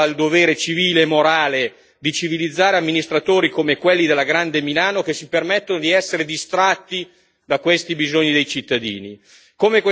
Allora quest'Aula ha il dovere civile e morale di civilizzare amministratori come quelli della grande Milano, che si permettono di essere distratti nei confronti di questi bisogni dei cittadini.